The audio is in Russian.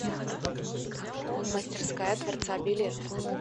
мастерская творца билет